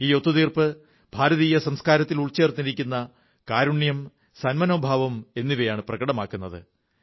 ഈ ഒത്തുതീർപ്പ് ഭാരതീയ സംസ്കാരത്തിൽ ഉൾച്ചേർന്നിരിക്കുന്ന കാരുണ്യം സന്മനോഭാവം എന്നിവയാണ് പ്രകടമാക്കുന്നത്